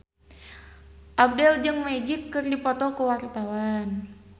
Abdel jeung Magic keur dipoto ku wartawan